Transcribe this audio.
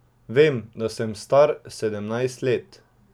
Vem, da sem star sedemnajst let.